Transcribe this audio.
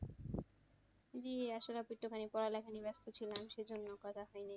জি আসলে আমি একটুখানি পড়ালেখা নিয়ে ব্যাস্ত ছিলাম সেজন্য কথা হয়নি আরকি।